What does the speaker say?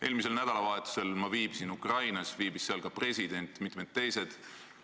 Eelmisel nädalavahetusel ma viibisin Ukrainas, seal viibisid ka president ja mitmed teised isikud.